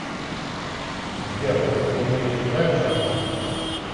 сбер олег владимирович играет в шахматы